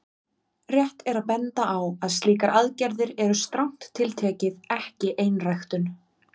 Rétt er að benda á að slíkar aðgerðir eru strangt til tekið ekki einræktun.